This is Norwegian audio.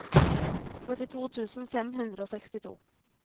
førtito tusen fem hundre og sekstito